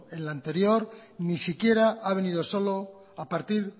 en la anterior ni siquiera ha venido solo a partir